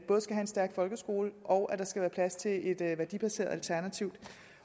en stærk folkeskole og at der skal være plads til et værdibaseret alternativ